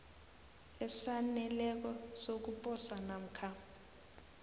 esaneleko sokuposa namkha